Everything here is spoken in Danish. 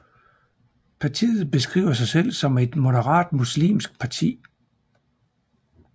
Partiet beskriver sig selv som et moderat muslimsk parti